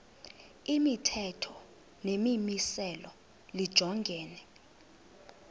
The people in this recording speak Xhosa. imithetho nemimiselo lijongene